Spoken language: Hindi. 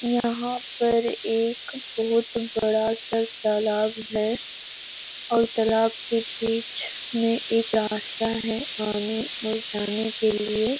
यहां पर एक बहोत बड़ा-सा तालाब है और तालाब के बीच में एक रास्ता है आने और जाने के लिए --